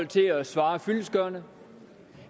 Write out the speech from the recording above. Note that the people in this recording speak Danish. til at svare fyldestgørende